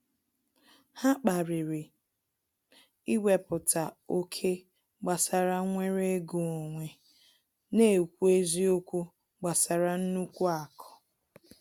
Ha kpariri iweputa oké gbasara nwere ego onwe na ekwu eziokwu gbasara nnukwu aku